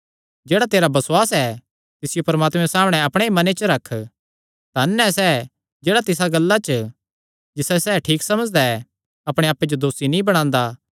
जेह्ड़ा तेरा बसुआस ऐ तिसियो परमात्मे सामणै अपणे ई मने च रख धन ऐ सैह़ जेह्ड़ा तिसा गल्ला च जिसायो सैह़ ठीक समझदा ऐ अपणे आप्पे जो दोसी नीं बणांदा